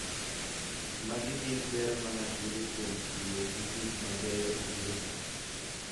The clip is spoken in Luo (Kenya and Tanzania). Magi gin ber ma ng'ato yudo kuom tiyo gi gik ma mabeyo e gedo.